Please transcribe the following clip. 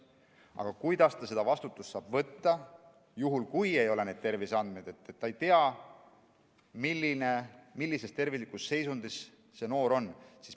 Aga kuidas ta seda vastutust saab võtta, kui tal ei ole terviseandmeid, kui ta ei tea, milline selle noore terviseseisund on?